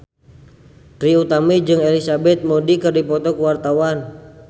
Trie Utami jeung Elizabeth Moody keur dipoto ku wartawan